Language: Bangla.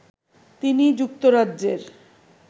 তিনি যুক্তরাজ্যের